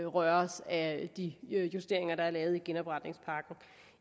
røres af de justeringer der er lavet i genopretningspakken